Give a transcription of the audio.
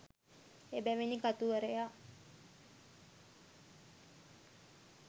එබැවිනි කතුවරයා